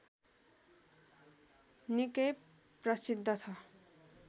निकै प्रसिद्ध छ